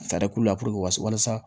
Fɛɛrɛ k'u la puruke walasa